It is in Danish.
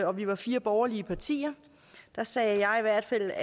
og vi var fire borgerlige partier sagde jeg i hvert fald